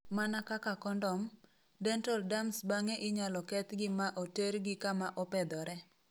Mana kaka kondom, Dental Dams Bang'e inyalo kethgi ma otergi kama opedhore.